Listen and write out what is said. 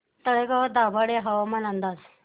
तळेगाव दाभाडे हवामान अंदाज